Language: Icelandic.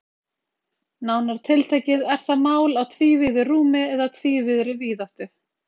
Nánar tiltekið er það mál á tvívíðu rúmi eða tvívíðri víðáttu.